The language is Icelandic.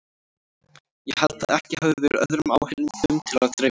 Ég held að ekki hafi verið öðrum áheyrendum til að dreifa.